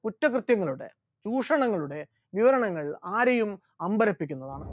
കുറ്റകൃത്യങ്ങളുടെ ചൂഷണങ്ങളുടെ വിവരണങ്ങൾ ആരെയും അമ്പരിപ്പിക്കുന്നതാണ്.